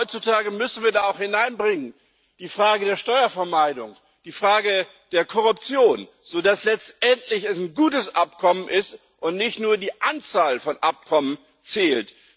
Ich glaube, heutzutage müssen wir auch die Frage der Steuervermeidung, die Frage der Korruption hineinbringen, so dass es letztendlich ein gutes Abkommen ist und nicht nur die Anzahl von Abkommen zählt.